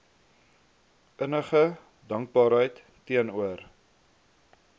innige dankbaarheid teenoor